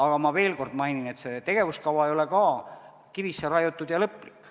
Aga ma veel kord mainin, et see tegevuskava ei ole kivisse raiutud ja lõplik.